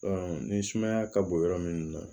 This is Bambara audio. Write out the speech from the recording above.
ni sumaya ka bon yɔrɔ min na